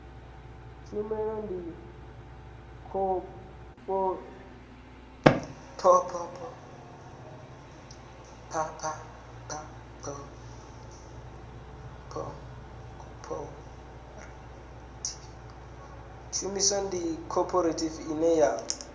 tshumelo ndi khophorethivi ine ya